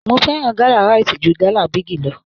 Mo fẹ́ràn gala Rite jù gala Bigi lọ.